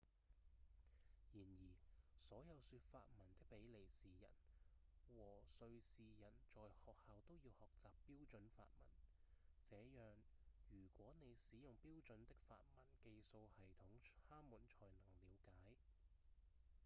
然而所有說法文的比利時人和瑞士人在學校都要學習標準法文這樣如果你使用標準的法文記數系統他們才能了解